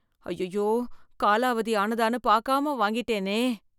அய்யய்யோ காலாவதி ஆனதான்னு பாக்காம வாங்கிட்டேனே!